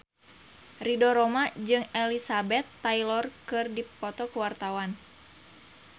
Ridho Roma jeung Elizabeth Taylor keur dipoto ku wartawan